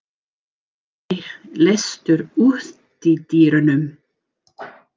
Maj, læstu útidyrunum.